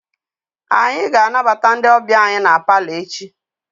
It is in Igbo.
Anyị ga-anabata ndị ọbịa anyị na palọ echi.